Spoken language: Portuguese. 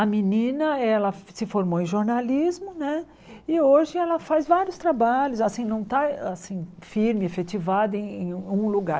A menina ela se formou em jornalismo né e hoje ela faz vários trabalhos assim, não está assim firme, efetivada em em um lugar.